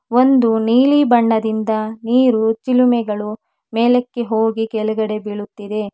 ಒಂದು ನೀಲಿ ಬಣ್ಣದಿಂದ ನೀರು ಚಿಲುಮೆಗಳು ಮೇಲಕ್ಕೆ ಹೋಗಿ ಕೆಳಗಡೆ ಬೀಳುತ್ತಿದೆ.